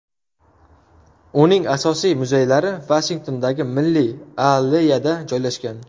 Uning asosiy muzeylari Vashingtondagi Milliy alleyada joylashgan.